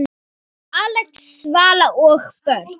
Axel, Vala og börn.